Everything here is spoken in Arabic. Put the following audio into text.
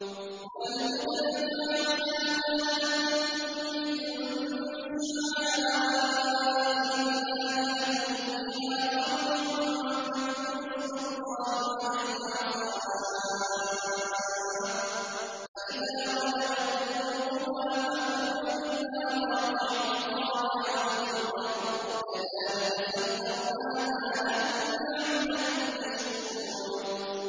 وَالْبُدْنَ جَعَلْنَاهَا لَكُم مِّن شَعَائِرِ اللَّهِ لَكُمْ فِيهَا خَيْرٌ ۖ فَاذْكُرُوا اسْمَ اللَّهِ عَلَيْهَا صَوَافَّ ۖ فَإِذَا وَجَبَتْ جُنُوبُهَا فَكُلُوا مِنْهَا وَأَطْعِمُوا الْقَانِعَ وَالْمُعْتَرَّ ۚ كَذَٰلِكَ سَخَّرْنَاهَا لَكُمْ لَعَلَّكُمْ تَشْكُرُونَ